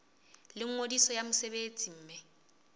la ngodiso ya mosebetsi mme